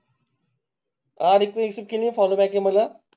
आणि तुम्ही follow back मला.